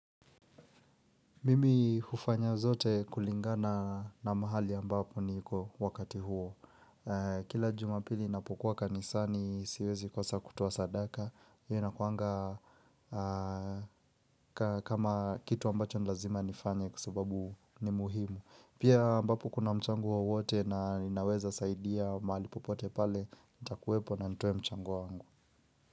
Mimi hufanya zote kulingana na mahali ambapo niko wakati huo. Kila jumapili napokuwa kanisani siwezi kosa kutoa sadaka. Hiyo inakuanga kama kitu ambacho ni lazima nifanye kwa sababu ni muhimu. Pia ambapo kuna mchango wowote na ninaweza saidia mahali popote pale, itakuwepo na nitoe mchango wa wangu.